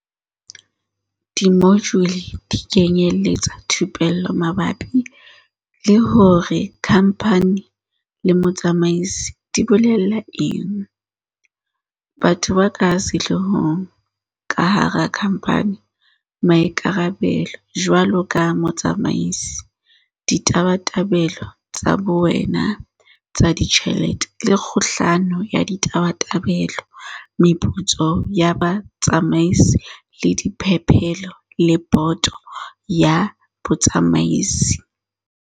Dimojule di kenyeletsa thupello mabapi le hore kha mphani le motsamaisi di bolela eng, batho ba ka sehloohong ka hara khamphani, maikarabelo jwaloka motsamaisi, ditabatabelo tsa bowena tsa ditjhelete le kgohlano ya ditabatabelo, meputso ya batsamaisi le diphepelo le boto ya batsamaisi.